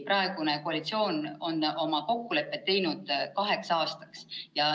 Praegune koalitsioon on oma kokkulepped teinud kaheks aastaks.